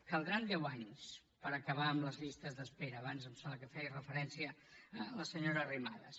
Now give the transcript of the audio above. caldran deu anys per acabar amb les llistes d’espera abans em sembla que hi feia referència la senyora arrimadas